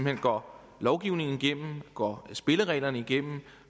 hen går lovgivningen igennem går spillereglerne igennem